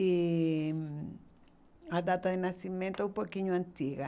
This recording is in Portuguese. E hum a data de nascimento é um pouquinho antiga.